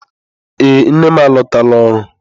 Ee nne m alọtala ọrụ.